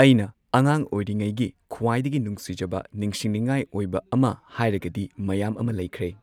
ꯑꯩꯅ ꯑꯉꯥꯡ ꯑꯣꯏꯔꯤꯉꯩꯒꯤ ꯈ꯭ꯋꯥꯏꯗꯒꯤ ꯅꯨꯡꯁꯤꯖꯕ ꯅꯤꯡꯁꯤꯡꯅꯤꯡꯉꯥꯏ ꯑꯣꯏꯕ ꯑꯃ ꯍꯥꯏꯔꯒꯗꯤ ꯃꯌꯥꯝ ꯑꯃ ꯂꯩꯈ꯭ꯔꯦ꯫